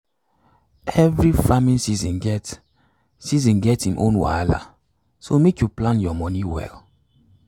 every farming season get season get im own wahala so make you plan your money well.